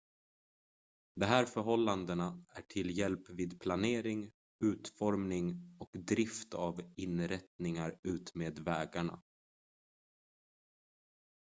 de här förhållandena är till hjälp vid planering utformning och drift av inrättningar utmed vägarna